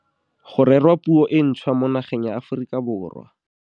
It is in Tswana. Go rerwa puo e ntšhwa mo nageng ya Aforika Borwa.